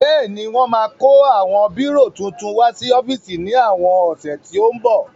Bẹ́ẹ̀ni wọ́n máa kó àwọn bírò titun wá sí ọ́fíìsì ní àwọn ọ̀sẹ̀ tó ń bọ̀